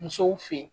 Musow fen